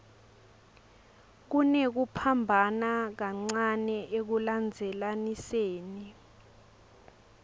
kunekuphambana kancane ekulandzelaniseni